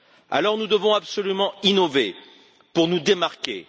Alors, nous devons absolument innover pour nous démarquer.